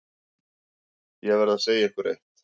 Ég verð að segja ykkur eitt.